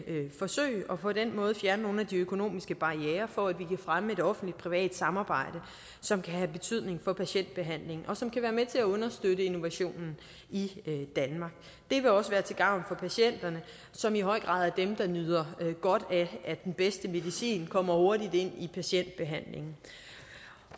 forsøg og på den måde fjerne nogle af de økonomiske barrierer for at vi kan fremme et offentlig privat samarbejde som kan have betydning for patientbehandlingen og som kan være med til at understøtte innovationen i danmark det vil også være til gavn for patienterne som i høj grad er dem der nyder godt af at den bedste medicin kommer hurtigt ind i patientbehandlingen